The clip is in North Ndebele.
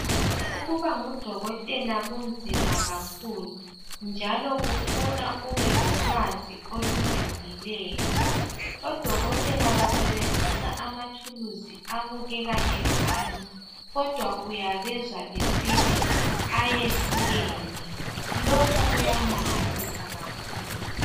Ukuba ngudokotela kunzima kakhulu njalo kufuna ubelolwazi olujulileyo. Odokotela basebenzisa amathuluzi abukeka efana kodwa uyabezwa besithi ayehlukene lokhu kuyamangalisa kakhulu.